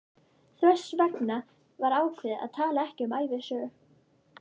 Þess vegna var ákveðið að tala ekki um ævisögu